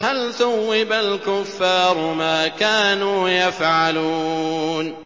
هَلْ ثُوِّبَ الْكُفَّارُ مَا كَانُوا يَفْعَلُونَ